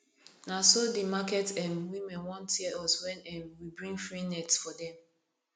na so the market um women wan tear us wen um we bring free net for dem